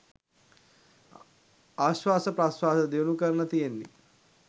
ආශ්වාස ප්‍රශ්වාස දියුණු කරන්න තියෙන්නෙ.